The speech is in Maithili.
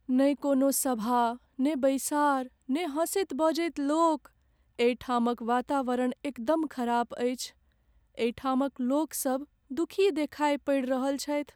नहि कोनो सभा, नहि बैसार, नहि हँसैत बजैत लोक, एहिठामक वातावरण एकदम खराब अछि। एहिठामक लोकसब दुखी देखाय पड़ि रहल छथि।